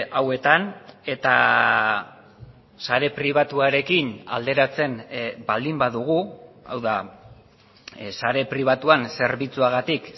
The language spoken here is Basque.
hauetan eta sare pribatuarekin alderatzen baldin badugu hau da sare pribatuan zerbitzuagatik